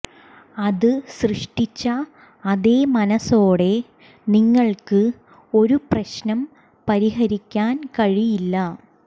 അത് സൃഷ്ടിച്ച അതേ മനസോടെ നിങ്ങൾക്ക് ഒരു പ്രശ്നം പരിഹരിക്കാൻ കഴിയില്ല